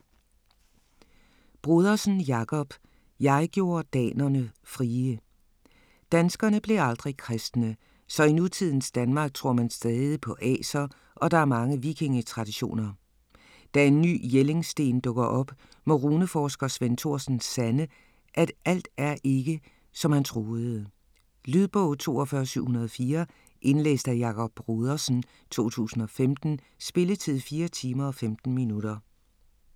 Brodersen, Jakob: Jeg gjorde danerne frie Danskerne blev aldrig kristne. Så i nutidens Danmark tror man stadig på aser og der er mange vikingetraditioner. Da en ny Jellingsten dukker op, må runeforsker Svend Thorsen sande, at alt ikke er som han troede. Lydbog 42704 Indlæst af Jakob Brodersen, 2015. Spilletid: 4 timer, 15 minutter.